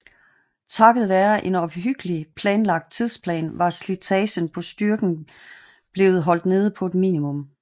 Takket være en omhyggeligt planlagt tidsplan var slitagen på styrken blev holdt nede på et minimum